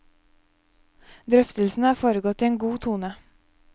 Drøftelsene har foregått i en god tone.